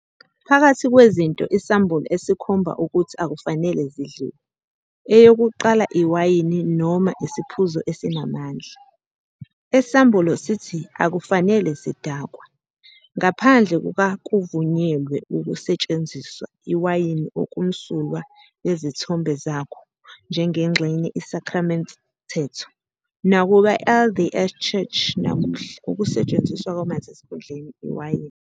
Phakathi kwezinto isambulo esikhomba ukuthi akufanele zidliwe, eyokuqala "iwayini noma isiphuzo esinamandla", esambulo sithi akufanele sidakwe., Ngaphandle kuka-kuvunyelwe ukusetshenziswa "iwayini okumsulwa yezithombe zakho" njengengxenye isakramente mthetho, nakuba LDS Church namuhla ukusetshenziswa kwamanzi esikhundleni iwayini.